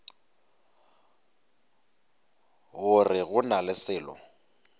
gore go na le selo